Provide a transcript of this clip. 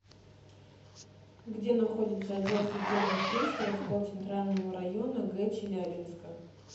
где находится отдел судебных приставов по центральному району г челябинска